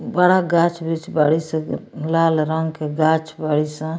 बड़ा गाछ वृक्ष बाड़ी सन लाल रंग के गाछ बाड़ी सन।